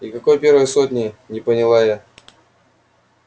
и какой первой сотни не поняла я